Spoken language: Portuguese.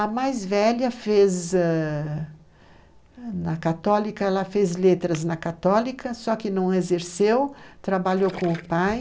A mais velha fez ãh na católica, ela fez letras na católica, só que não exerceu, trabalhou com o pai,